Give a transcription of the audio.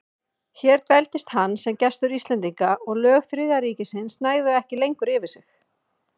Hér dveldist hann sem gestur Íslendinga, og lög Þriðja ríkisins næðu ekki lengur yfir sig.